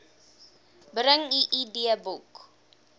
bring u idboek